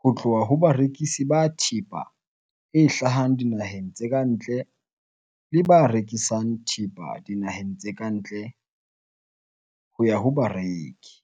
ho tloha ho barekisi ba thepa e hlahang dinaheng tse ka ntle le ba rekisang thepa dinaheng tse ka ntle ho ya ho bareki.